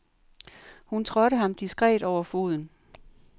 Hun trådte ham diskret over foden.